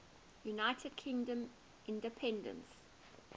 united kingdom independence